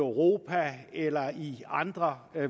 europa eller i andre